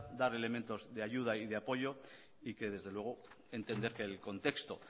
dar elementos de ayuda y de apoyo y que desde luego entender que el contexto